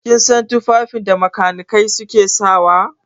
Kin san tufafin da makanikai suke saka wa?